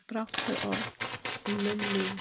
Brátt fer orð er um munn líður.